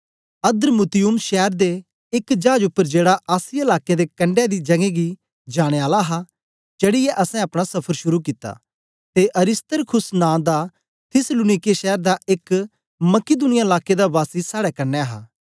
अद्र्मुत्तियुम शैर दे एक चाज उपर जेड़ा आसिया लाकें दे कंडै दी जगें गी जाने आला हा चढ़ीयै असैं अपना सफर शुरू कित्ता ते अरिस्तर्खुस नां दा थिस्सलुनीके शैर दा एक मकिदुनिया लाके दा वासी साड़े कन्ने हा